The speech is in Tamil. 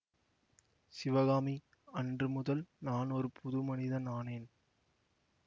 சிவகாமி அன்று முதல் நான் ஒரு புது மனிதன் ஆனேன்